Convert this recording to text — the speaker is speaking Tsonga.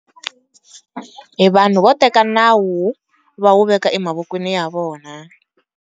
Hi vanhu vo teka nawu va wu veka emavokweni ya vona.